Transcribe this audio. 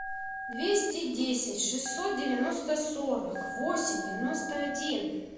двести десять шестьсот девяносто сорок восемь девяносто один